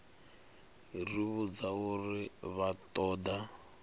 ri vhudza uri vha ṱoḓa